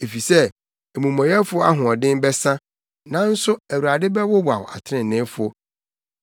efisɛ amumɔyɛfo ahoɔden bɛsa nanso Awurade bɛwowaw atreneefo.